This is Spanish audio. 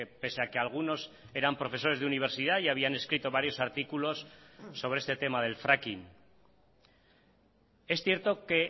pese a que algunos eran profesores de universidad y habían escrito varios artículos sobre este tema del fracking es cierto que